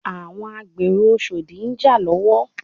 Àwọn agbèrò oshodi ń jà lọ́wọ́